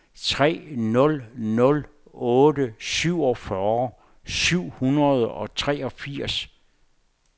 tre nul nul otte syvogfyrre syv hundrede og treogfirs